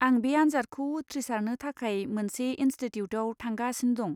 आं बे आनजादखौ उथ्रिसारनो थाखाय मोनसे इनस्टिट्युटाव थांगासिनो दं।